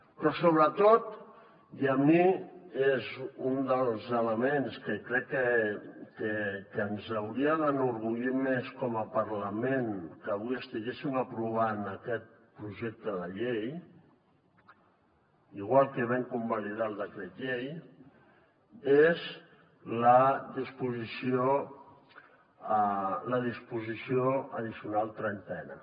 però sobretot i a mi és un dels elements que crec que ens hauria d’enorgullir més com a parlament que avui estiguéssim aprovant aquest projecte de llei igual que vam convalidar el decret llei és la disposició addicional trentena